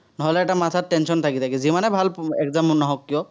নহলে এটা মাথাত tension থাকে, যিমানে ভাল exam নহওক কিয়।